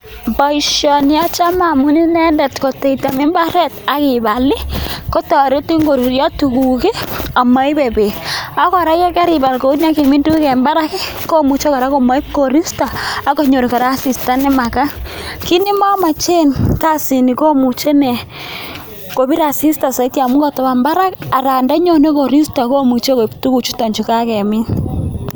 Poishani achame amun tariti piik koruryo tuguuk akomuchiii kopir asista musing